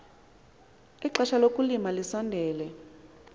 ixesha lokulima lisondele